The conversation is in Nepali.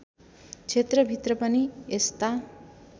क्षेत्रभित्र पनि यस्ता